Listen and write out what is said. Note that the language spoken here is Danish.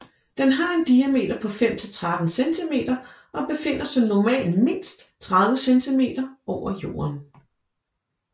Den har en diameter på 5 til 13 centimeter og befinder sig normalt mindst 30 cm over jorden